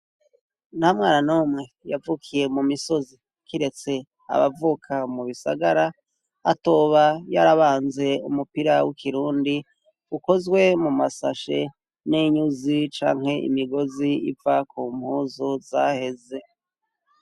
Nta mwana numwe yavukiye mu misozi kiretse abavuka mu bisagara atoba yarabanze umupira w'ikirundi ukozwe mu masashe n'inyuzi canke imigozi iva ku mpuzu zaheze.